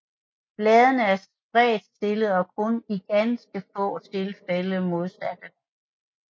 Bladene er spredtstillede og kun iganske få tilfælde modsatte